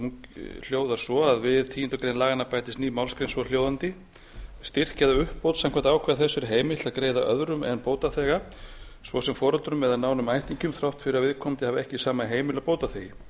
hún hljóðar svo við tíundu grein laganna bætist ný málsgrein svohljóðandi styrk eða uppbót samkvæmt ákvæði þessu er heimilt að greiða öðrum en bótaþega svo sem foreldrum eða nánum ættingjum þrátt fyrir að viðkomandi hafi ekki sama heimili og bótaþegi